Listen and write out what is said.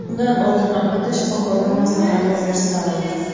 Undan oldin albatta shifokordan maslahat olish zarur!